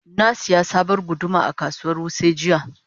Na sayi sabuwar guduma a kasuwar Wuse jiya.